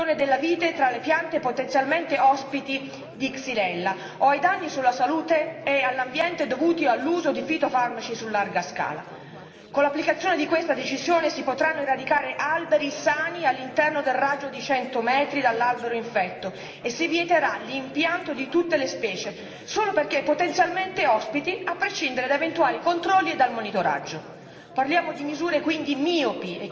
e con questo faccio riferimento all'esclusione della vite dalle piante potenzialmente ospiti di Xylella o ai danni per la salute e l'ambiente dovuti all'uso di fitofarmaci su larga scala. Con l'applicazione di questa decisione si potranno eradicare alberi sani all'interno del raggio di cento metri dall'albero infetto e si vieterà l'impianto di tutte le specie solo perché potenzialmente ospiti, a prescindere da eventuali controlli e dal monitoraggio.